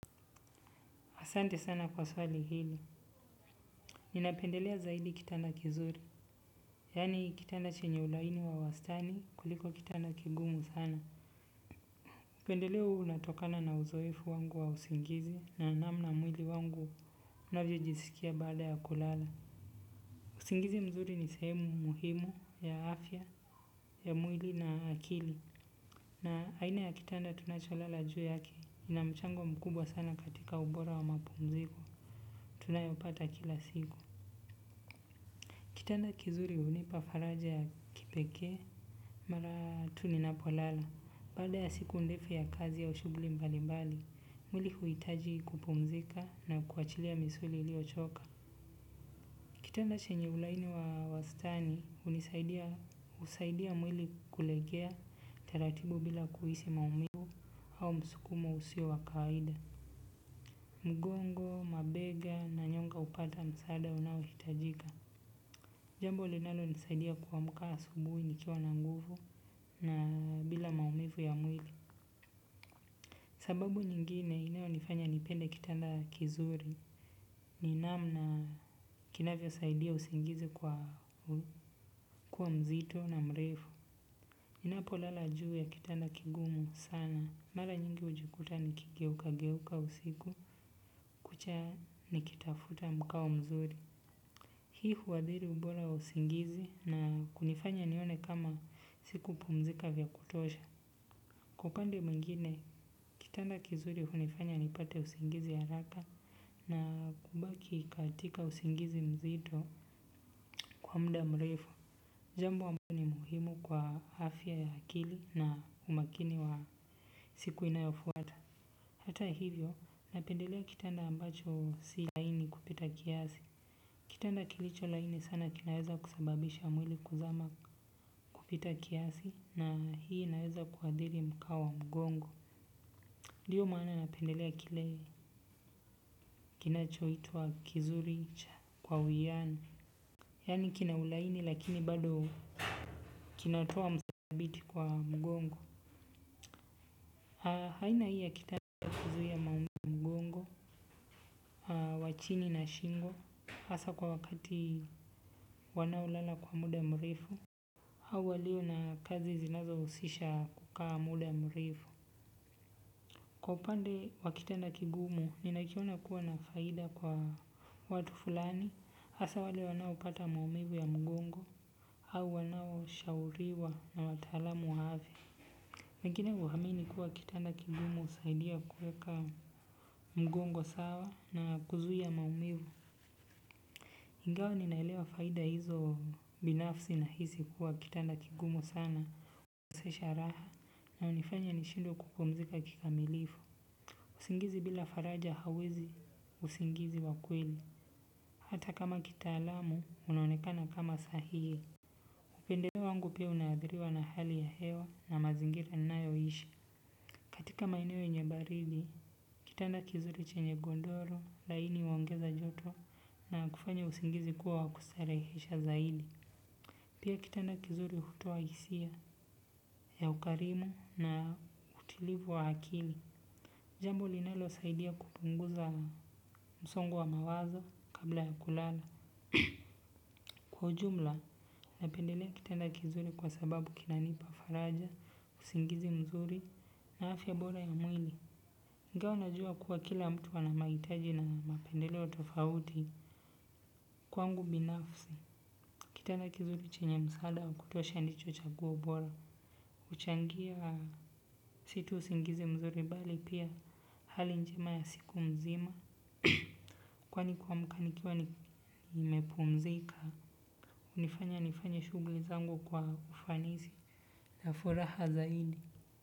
Asante sana kwa swali hili. Ninapendelea zaidi kitana kizuri. Yani kitanda chenye ulaini wa wastani kuliko kitanda kigumu sana upendeleo huu unatokana na uzoefu wa usingizi na namna mwili wangu unavyojiskia baada ya kulala usingizi mzuri ni sehemu muhimu ya afya ya mwili na akili na aina ya kitanda tunacholala juu yake kina mchango mkubwa sana katika ubora wa mapumziko tunayopata kila siku. Kitanda kizuri hunipa faraja ya kipeke, mara tu ni napo lala, baada ya siku ndefu ya kazi au shughuli mbalimbali, mwili huitaji kupumzika na kuachilia misuli ilio choka. Kitanda chenye ulaini wa wastani, husaidia mwili kulegea teratibu bila kuhisi maumibu au msukumo usio wakaida. Mgongo, mabega na nyonga upata msaada unaohitajika. Jambo linalo nisaidia kuamka asubuhi nikiwa na nguvu na bila maumivu ya mwili. Sababu nyingine inayo nifanya nipende kitanda kizuri. Ni namna kinavyo saidia usingizi kua mzito na mrefu ninapo lala juu ya kitanda kigumu sana mara nyingi hujikuta nikigeuka geuka usiku kucha nikitafuta mkao mzuri. Hii huadhiri ubora wa usingizi na kunifanya nione kama siku pumzika vya kutosha kwa upande mwingine, kitanda kizuri hunifanya nipate usingizi haraka na kubaki katika usingizi mzito kwa mda mrefu. Jambo ni muhimu kwa afya ya akili na umakini wa siku inayofuata. Hata hivyo, napendelea kitanda ambacho si laini kupita kiasi. Kitanda kilicho laini sana kinaweza kusababisha mwili kuzama kupita kiasi na hii naweza kuadili mkao mgongo. Ndiyo maana napendelea kile kinacho itwa kizuri cha kwa uwiano. Yani kina ulaini lakini bado kinatoa msabiti kwa mgongo aina hii ya kitanda huzuia maumivu ya mgongo kwa chini na shingo hasa kwa wakati wanaolala kwa muda ya mrefu au walio na kazi zinazo husisha kukaa muda ya mrefu. Kwa upande wa kitanda kigumu, ninakiona kuwa na faida kwa watu fulani, hasa wale wanao pata maumivu ya mgongo, au wanao shauriwa na wataalamu afya lakini huamini kuwa kitanda kigumu husaidia kuweka mgongo sawa na kuzuia maumivu. Ingawa ninaelewa faida hizo binafsi na hisi kuwa kitanda kigumu sana. Hunikosesha raha na hunifanya nishindwe kupumzika kikamilifu. Usingizi bila faraja hawezi usingizi wa kweli. Hata kama kitaalamu, unaonekana kama sahihi. Upendeleo wangu pia unaadhiriwa na hali ya hewa na mazingira ninayoishi katika maeneo yenye baridi, kitanda kizuri chenye gondoro, laini huongeza joto na kufanya usingizi kuwa wa kustarehesha zaidi pia kitanda kizuri hutoa hisia ya ukarimu na utulivu wa akili. Jambo linalo saidia kupunguza msongo wa mawaza kabla ya kulala. Kwa ujumla, napendelea kitanda kizuri kwa sababu kinanipa faraja, usingizi mzuri, na afya bora ya mwili. Ingawa najua kuwa kila mtu ana mahitaji na mapendeleo tofauti. Kwangu binafsi, kitanda kizuri chenye msaada wa kutosha ndicho chaguo bora. Huchangia si tu usingizi mzuri bali pia hali njema ya siku mzima. Kwani kuamka nikiwa nimepumzika, hunifanya nifanye shughuli zangu kwa ufanisi. Na furaha zaidi.